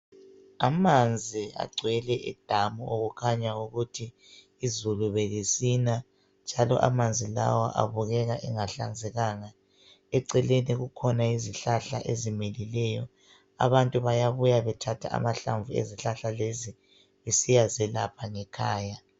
Amanzi agcwele edamu okukhanya ukuthi izulu belisina .Njalo amanzi lawa abukeka engahlanzekanga .Eceleni kukhona izihlahla ezimilileyo abantu bayabuya bethatha amahlamvu ezihlahla lezi besiyazelapha ngekhaya.